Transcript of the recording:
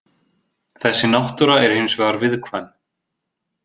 Þessi náttúra er hins vegar viðkvæm.